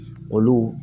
Olu